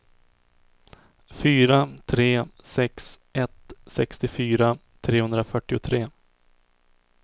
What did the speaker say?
fyra tre sex ett sextiofyra trehundrafyrtiotre